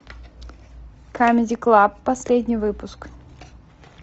камеди клаб последний выпуск